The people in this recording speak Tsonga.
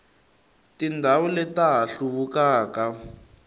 tindhawu leti ta ha hluvukaka